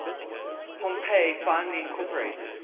pompey finally incorporated